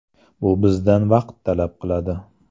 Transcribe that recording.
Bu bizdan vaqt talab qiladi.